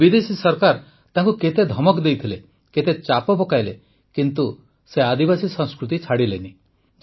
ବିଦେଶୀ ସରକାର ତାଙ୍କୁ କେତେ ଧମକ ଦେଇଥିଲେ କେତେ ଚାପ ପକାଇଲେ କିନ୍ତୁ ସେ ଆଦିବାସୀ ସଂସ୍କୃତି ଛାଡ଼ିଲେ ନାହିଁ